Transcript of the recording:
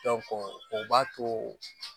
o b'a to